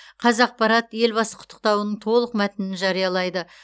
қазақпарат елбасы құттықтауының толық мәтінін жариялайды